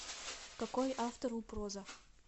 какой автор у проза